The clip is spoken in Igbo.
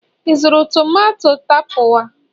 ị zụrụ tomato tapawa?